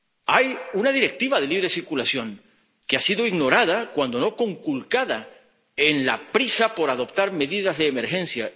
hay una Directiva sobre la libre circulación, que ha sido ignorada, cuando no conculcada, en la prisa por adoptar medidas de emergencia.